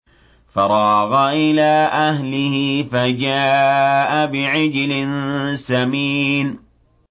فَرَاغَ إِلَىٰ أَهْلِهِ فَجَاءَ بِعِجْلٍ سَمِينٍ